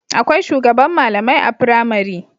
Akwai shugaban malamai a pramari